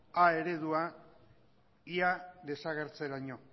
a eredua ia desagertzeraino